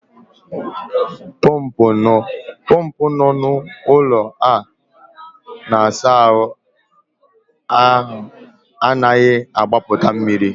Pọmpụ nọ n'ụlọ a na-asa ahụ anaghị agbapụ mmiri.